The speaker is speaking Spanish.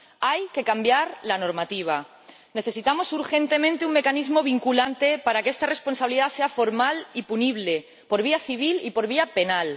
Hay que cambiar la normativa. Necesitamos urgentemente un mecanismo vinculante para que esta responsabilidad sea formal y punible por vía civil y por vía penal.